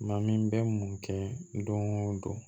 Maa min bɛ mun kɛ don o don